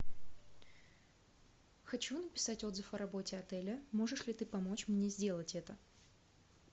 хочу написать отзыв о работе отеля можешь ли ты помочь мне сделать это